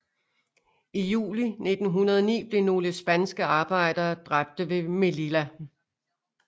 I juli 1909 blev nogle spanske arbejdere dræbte ved Melilla